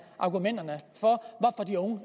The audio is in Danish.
argumenterne for